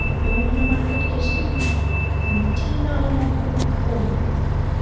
Jóhanna Margrét Gísladóttir: Kominn tími á nokkrar holur?